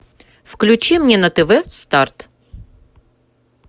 включи мне на тв старт